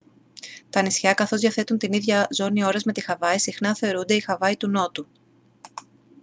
τα νησιά καθώς διαθέτουν την ίδια ζώνη ώρας με τη χαβάη συχνά θεωρούνται η «χαβάη του νότου»